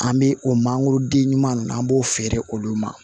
An bɛ o mangoroden ɲuman ninnu an b'o feere olu ma